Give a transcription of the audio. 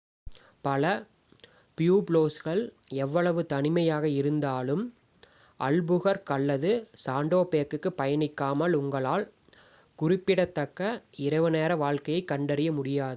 பல ப்யூப்லோஸ்கள் எவ்வளவு தனிமையாக இருந்தாலும் அல்புகுர்க் அல்லது சாண்டா ஃபேக்கு பயணிக்காமல் உங்களால் குறிப்பிடத்தக்க இரவு நேர வாழ்க்கையை கண்டறிய முடியாது